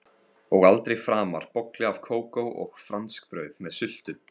Og aldrei framar bolli af kókó og franskbrauð með sultu.